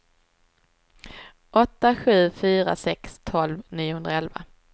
åtta sju fyra sex tolv niohundraelva